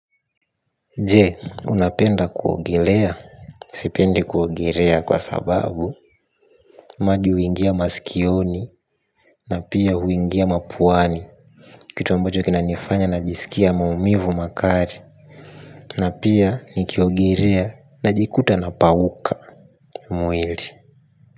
Je, unapenda kuogelea? Sipendi kuogelea kwa sababu maji huingia maskioni na pia huingia mapuani. Kitu ambacho kinanifanya najisikia maumivu makali. Na pia nikiogelea najikuta napauka mwili.